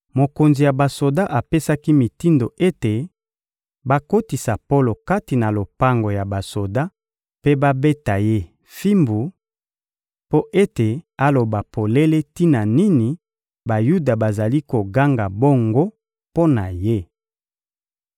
mokonzi ya basoda apesaki mitindo ete bakotisa Polo kati na lopango ya basoda mpe babeta ye fimbu, mpo ete aloba polele tina nini Bayuda bazali koganga bongo mpo na ye.